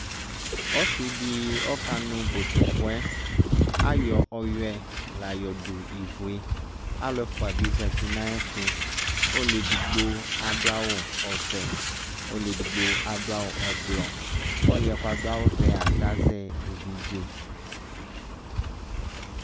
Ɔsɩ dɩ ɔkanʋ botokʋɛ Ayɔ ɔyʋɛ la yɔdʋ ivu yɛ Alʋ ɛfʋa bɩ zati nʋ ayɛtʋ Ɔlʋ edigbo adʋ awʋ ɔvɛ, ɔlʋ edigbo adʋ awʋ ɔblɔ Ɔlʋ yɛ kʋ adʋ awʋvɛa azɛ evidze